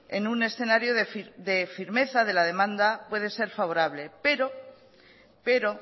en un escenario de firmeza de la demanda puede ser favorable pero